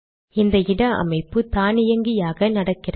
இந்த இட அமைப்பு தானியங்கியாக நடக்கிறது